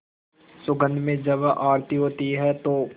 सुगंध में जब आरती होती है तो